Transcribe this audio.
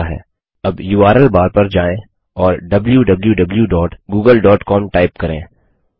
अब URL bar URL bar पर जाएँ और wwwgooglecom टाइप करें